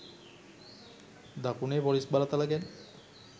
දකුණේ පොලිස් බලතල ගැන